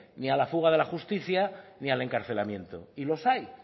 ni al fuga de la justicia ni al encarcelamiento y los hay